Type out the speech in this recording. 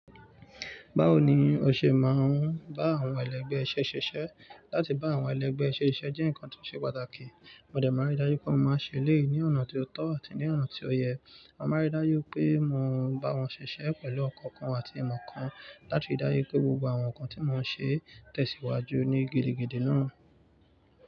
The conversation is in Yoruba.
Báwo ni o ṣe máa ń bá àwọn ẹlẹgbẹ́ iṣẹ́ ṣiṣẹ́? Láti bá àwọn ẹlẹgbẹ́ ṣẹ́ ṣiṣẹ́ jẹ́ nǹkan tó ṣe pàtàkì. Mo dẹ̀ mọ́ ri dáju pé mo máa ṣẹlẹ̀ ní ọ̀nà tó tọ́ àti ní ọ̀nà tó yẹ. Mo máa ń ri dájú pé mo ń bá wọn ṣiṣẹ́ pẹ̀lú ọkàn kan àti ìmọ̀ kan, láti ri dájú pé gbogbo àwọn nǹkan tí mo ṣe tẹ̀síwájú ní gidi gidí náà.